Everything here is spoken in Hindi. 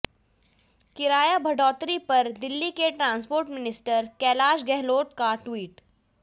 किराया बढ़ोत्तरी पर दिल्ली के ट्रांसपोर्ट मिनिस्टर कैलश गहलोत का ट्वीट